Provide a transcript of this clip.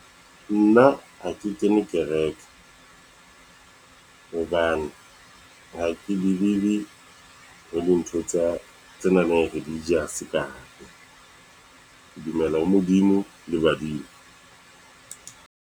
Nna ha ke kene kereke, hobane ha ke believe-e ho ntho tse nang le regious ka hare. Ke dumela ho Modimo le badimo.